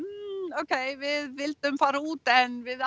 hmm ókei við vildum fara út en við